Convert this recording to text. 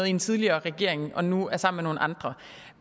i en tidligere regering og nu er sammen med nogle andre